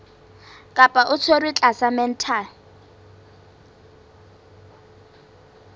kapa o tshwerwe tlasa mental